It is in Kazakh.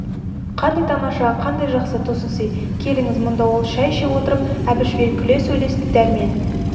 қандай тамаша қандай жақсы тосын сый келіңіз мұнда ол шай іше отырып әбішпен күле сөйлесті дәрмен